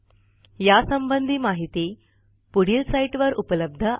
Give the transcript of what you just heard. यासंबंधी माहिती पुढील साईटवर उपलब्ध आहे